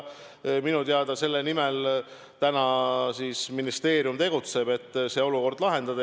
Minu teada selle nimel ministeerium tegutseb, et see olukord lahendada.